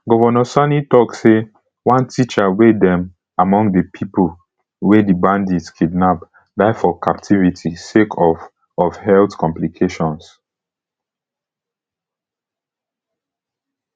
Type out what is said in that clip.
govnor sani tok say one teacher wey dem among di pipo wey di bandits kidnap die for captivity sake of of health complications